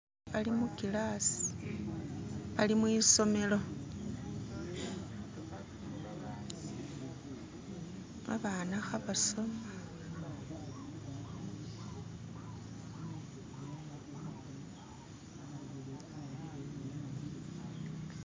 Bali mukilasi bali mwisomelo babana khebasoma